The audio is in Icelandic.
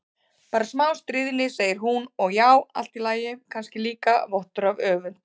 Bara smá stríðni, segir hún, og já, allt í lagi, kannski líka vottur af öfund.